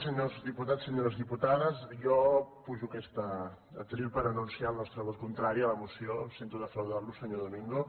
senyors diputats senyores diputades jo pujo a aquest faristol per anunciar el nostre vot contrari a la moció sento defraudar lo senyor domingo